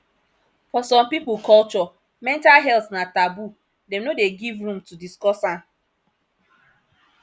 for some pipo culture mental health na taboo dem no dey give room to discuss am